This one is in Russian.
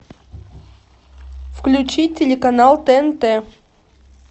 включи телеканал тнт